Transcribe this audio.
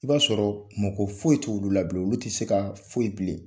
I b'a sɔrɔ mako foyi t'olu la bilen olu tɛ se ka foyi bilen